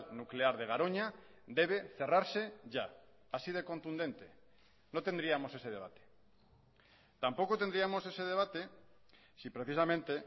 nuclear de garoña debe cerrarse ya así de contundente no tendríamos ese debate tampoco tendríamos ese debate si precisamente